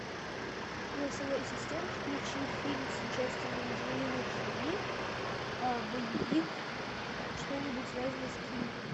голосовой ассистент включи фильм с участием анджелины джоли боевик что нибудь связанное с киллерами